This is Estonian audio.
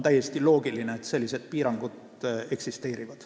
See on õige, et sellised piirangud eksisteerivad.